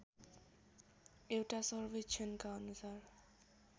एउटा सर्वेक्षणका अनुसार